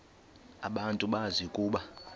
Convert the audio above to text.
abantu bazi ukuba